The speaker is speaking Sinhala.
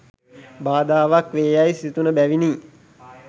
බාධාවක් වේ යැයි සිතුනු බැවිනි.